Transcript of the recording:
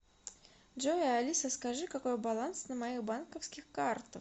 джой алиса скажи какой баланс на моих банковских картах